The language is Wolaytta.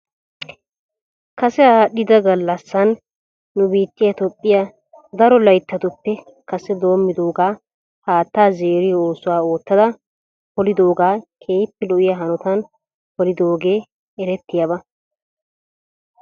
Kase aadhdhida gallassan nu biittiyaa toophphiyaa daro layttatuppe kase doomidoogaa haataa zeeriyoo oosuwaa oottada polidoogaa keehippe lo'iyaa hanotan pelidoogee erettiyaaba.